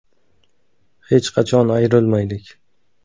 Hech qachon ayrilmaylik.